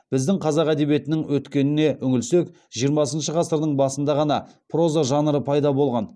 біздің қазақ әдебиетінің өткеніне үңілсек жиырмасыншы ғасырдың басында ғана проза жанры пайда болған